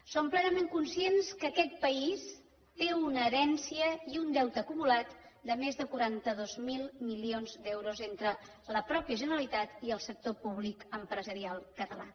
som plenament conscients que aquest país té una herència i un deute acumulat de més de quaranta dos mil milions d’euros entre la mateixa generalitat i el sector públic empresarial català